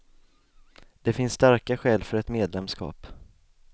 Det finns starka skäl för ett medlemskap.